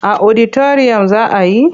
A oditariyam za a yi.